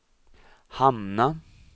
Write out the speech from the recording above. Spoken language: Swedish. hamna